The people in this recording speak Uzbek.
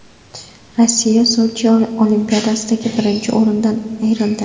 Rossiya Sochi Olimpiadasidagi birinchi o‘rindan ayrildi.